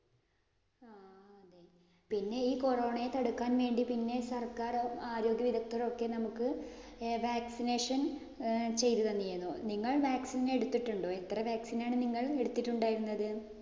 പിന്നെ ഈ corona യെ തടുക്കാന്‍ വേണ്ടി പിന്നെ സര്‍ക്കാരും, ആരോഗ്യ വിദഗ്ദ്ധരും ഒക്കെ നമുക്ക് vaccination ചെയ്തു തന്നിരുന്നു. നിങ്ങൾ vaccine എടുത്തിട്ടുണ്ടോ? എത്ര vaccine ആണ് നിങ്ങൾ എടുത്തിട്ടുണ്ടായിരുന്നത്?